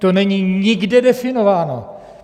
To není nikde definováno!